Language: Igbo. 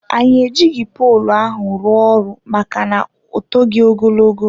Anyị ejighị poolụ ahụ rụọ ọrụ maka na ọ toghi ogologo.